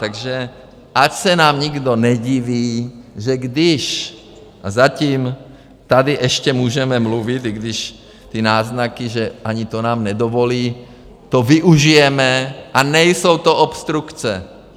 Takže ať se nám nikdo nediví, že když - a zatím tady ještě můžeme mluvit, i když ty náznaky, že ani to nám nedovolí, to využijeme a nejsou to obstrukce.